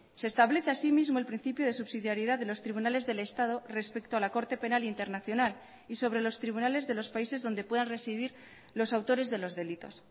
se establece asimismo el principio de subsidiaridad de los tribunales del estado respecto a la corte penal internacional y sobre los tribunales de los países donde puedan residir los autores de los delitos